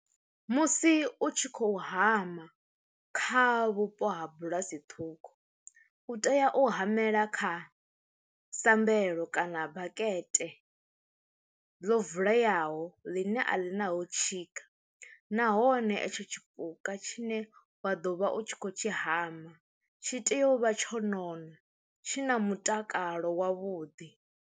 Musi u tshi khou hama kha vhupo ha bulasi ṱhukhu u tea u hamela kha sambelo kana bakete ḽo vuleyaho ḽine a ḽi na ho tshika, nahone etsho tshipuka tshine wa ḓo vha u tshi kho tshi hama tshi tea u vha tsho nona tshi na mutakalo wavhuḓi.